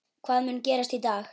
Hvað mun gerast í dag?